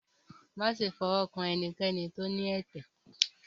máṣe fi ọwọ kàn enikéni tó ní ẹtẹ!